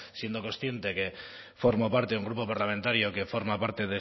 siendo consciente que formo parte de un grupo parlamentario que forma parte